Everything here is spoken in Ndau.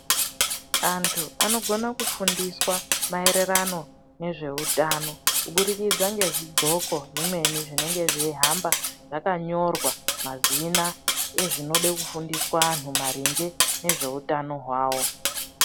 Antu anogona kufundiswa maererano nezveutano kuburikidza ngezvidxoko zvimweni zvinenge zveihamba zvakanyorwa mazina ezvinode kufundiswa anhu maringe ngezveutano hwavo.